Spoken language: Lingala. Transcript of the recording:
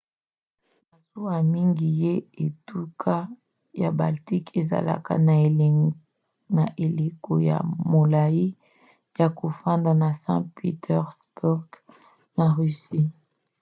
masuwa mingi ya etuka ya baltique ezalaka na eleko ya molai ya kofanda na saint-pétersbourg na russie